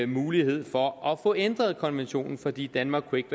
mulighed for at få ændret konventionen fordi danmark ikke